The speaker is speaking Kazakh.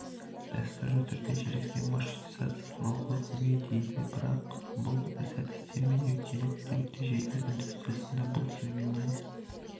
дәстүрлі түрде желісінде маршрутизация құрылғысын көмей дейді бірақ бұл сәтсіз термин өйткені күнделікті желілер индустриясында бұл терминнен